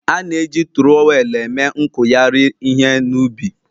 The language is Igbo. A na-eji turowelu eme nkuyari ihe na ubi